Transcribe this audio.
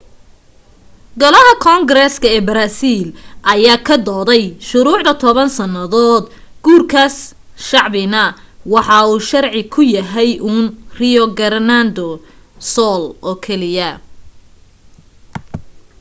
golaha koongareeksa ee baraasiil ayaa ka doodayay shuruucda 10 sannadood guurkaas shacbina waxa uu sharci ka yahay uun rio grande do sul oo keliya